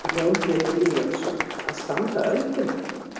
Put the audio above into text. Jón Pétur Úlfljótsson: Að standa ölduna?